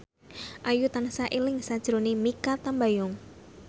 Ayu tansah eling sakjroning Mikha Tambayong